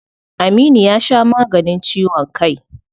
Aminu ya sha maganin ciwon kai.